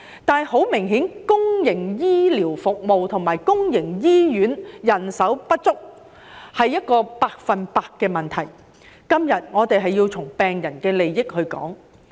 但是，很明顯，公營醫療服務和公營醫院人手不足是一個百分之百的問題，今天我們要從病人利益的角度討論。